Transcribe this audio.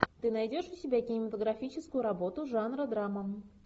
ты найдешь у себя кинематографическую работу жанра драма